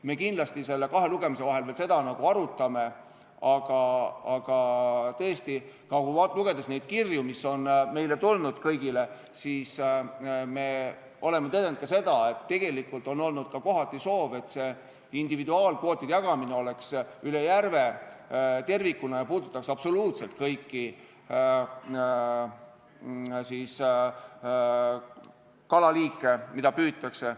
Me kindlasti kahe lugemise vahel veel seda arutame, aga tõesti, lugedes kirju, mis on meile kõigile tulnud, oleme tõdenud ka seda, et tegelikult on olnud kohati soov, et individuaalkvootide jagamine toimuks üle järve tervikuna ja puudutaks absoluutselt kõiki kalaliike, mida püütakse.